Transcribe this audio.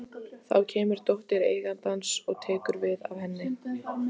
Saman störðu þær í dáleiðslu á þennan nýja Fúsa.